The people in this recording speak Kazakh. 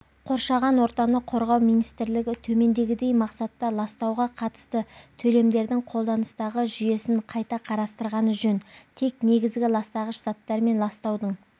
қоршаған ортаны қорғау министрлігі төмендегідей мақсатта ластауға қатысты төлемдердің қолданыстағы жүйесін қайта қарастырғаны жөн тек негізгі ластағыш заттар мен ластаудың